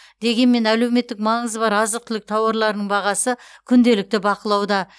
дегенмен әлеуметтік маңызы бар азық түлік тауарларының бағасы күнделікті бақылауда